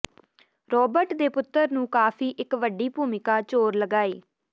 Robert ਦੇ ਪੁੱਤਰ ਨੂੰ ਕਾਫ਼ੀ ਇੱਕ ਵੱਡੀ ਭੂਮਿਕਾ ਚੋਰ ਲਗਾਏ